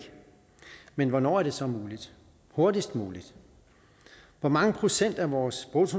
men hvornår er det så muligt hurtigst muligt hvor mange procent af vores vores